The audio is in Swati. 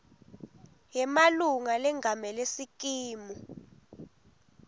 yemalunga lengamele sikimu